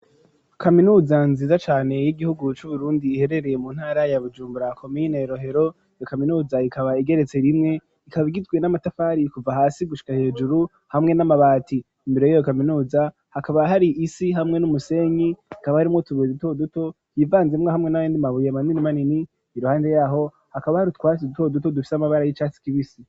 kaminuza nziza cane y'igihugu cu Burundi iherereye mu ntara ya Bujumbura komine Rohero iyo kaminuza ikaba igeretse rimwe ikaba igwe n'amatafari kuva hasi gushika hejuru hamwe n'amabati imbere yiyo kaminuza hakaba hari isi hamwe n'umusenyi ikaba harimwo ubuye duto duto yivanzemwo hamwe nayandi mabuye manini manini iruhande yaho hakaba hari utwasi duto duto dufise amabara y'icatsi kibisi.